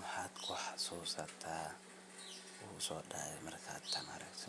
Mxad kuxasusata kuguso dacay, wxa igu so dacayo marka tan aragto